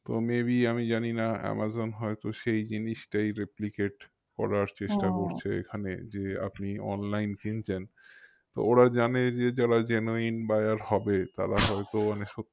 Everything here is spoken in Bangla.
তো maybe আমি জানিনা আমাজন হয়তো সেই জিনিসটাই replicate করার এখানে যে আপনি online কিনছেন তো ওরা জানে যে যারা genuine buyer হবে তারা হয়তো অনেক